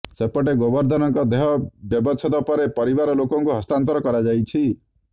ସେପଟେ ଗୋବର୍ଦ୍ଧନଙ୍କ ଦେହ ବ୍ୟବଚ୍ଛେଦ ପରେ ପରିବାର ଲୋକଙ୍କୁ ହସ୍ତାନ୍ତର କରାଯାଇଛି